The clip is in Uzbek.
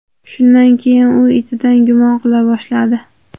Shundan keyin u itidan gumon qila boshladi.